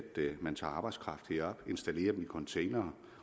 man tager arbejdskraft herop installerer dem i containere